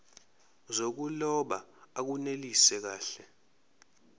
zokuloba akunelisi kahle